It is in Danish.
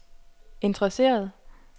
interesseret